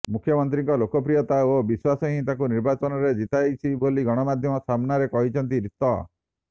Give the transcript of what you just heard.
ମୁଖ୍ୟମନ୍ତ୍ରୀଙ୍କ ଲୋକପ୍ରିୟତା ଓ ବିଶ୍ୱାସ ହିଁ ତାଙ୍କୁ ନିର୍ବାଚନରେ ଜିତାଇଛି ବୋଲ ଗଣମାଧ୍ୟମ ସାମ୍ନାରେ କହିଛନ୍ତି ରୀତ